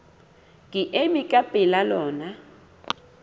ke ema ka pela lona